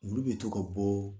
Olu be to ka bɔɔ